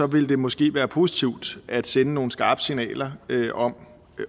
vil det måske være positivt at sende nogle skarpe signaler